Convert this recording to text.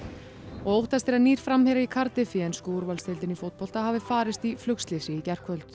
og óttast er að nýr framherji Cardiff í ensku úrvalsdeildinni í fótbolta hafi farist í flugslysi í gærkvöld